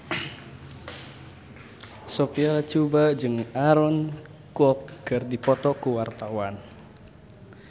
Sophia Latjuba jeung Aaron Kwok keur dipoto ku wartawan